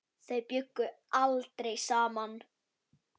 Þau bjuggu aldrei saman.